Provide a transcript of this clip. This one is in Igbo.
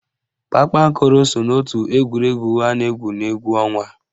Kpakpankoro so n'ótù egwuregwu a na-égwù n'égwú ọnwa